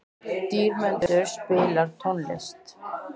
Dýrmundur, spilaðu tónlist.